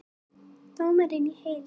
Dómurinn í heild